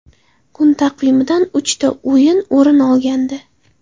Kun taqvimidan uchta o‘yin o‘rin olgandi.